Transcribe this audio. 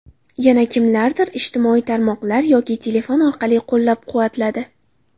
Yana kimlardir ijtimoiy tarmoqlar yoki telefon orqali qo‘llab-quvvatladi.